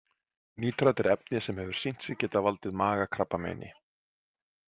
Nítrat er efni sem hefur sýnt sig geta valdið magakrabbameini.